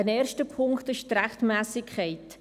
Ein erster Punkt ist die Rechtmässigkeit.